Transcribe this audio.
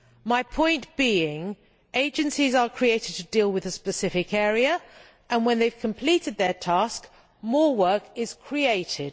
My point is that agencies are created to deal with a specific area and, when they have completed their task, more work is created.